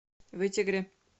вытегре